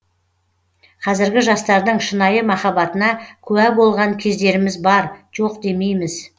қазіргі жастардың шынайы махаббатына куә болған кездеріміз бар жоқ демейміз